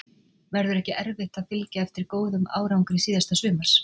Verður ekki erfitt að fylgja eftir góðum árangri síðasta sumars?